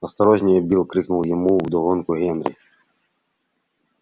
осторожнее билл крикнул ему вдогонку генри